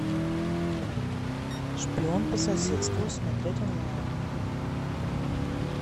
шпион по соседству смотреть онлайн